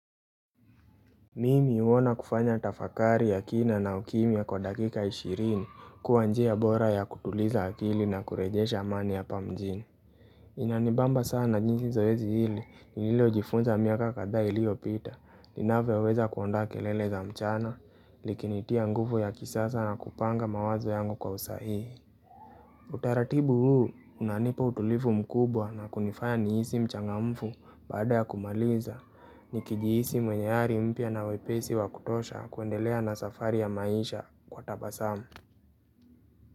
Mimi huona kufanya tafakari ya kina na ukimia kwa dakika ishirini kuwa njia bora ya kutuliza akili na kurejesha amani ya pamjini. Inanibamba sana jinsi zoezi hili, niliyo jifunza miaka kadhaa ilio pita, ninavyoweza kuondoa kelele za mchana, likinitia nguvu ya kisasa na kupanga mawazo yangu kwa usahihi. Utaratibu huu unanipa utulifu mkubwa na kunifaya nihisi mchangamfu baada ya kumaliza Nikijihisi mwenye hari mpya na wepesi wa kutosha kuendelea na safari ya maisha kwa tabasamu.